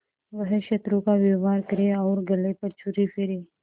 वह शत्रु का व्यवहार करे और गले पर छुरी फेरे